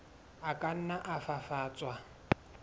a ka nna a fafatswa